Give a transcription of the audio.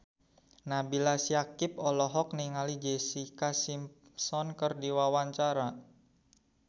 Nabila Syakieb olohok ningali Jessica Simpson keur diwawancara